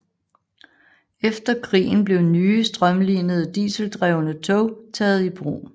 Efter krigen blev nye strømlinede dieseldrevne tog taget i brug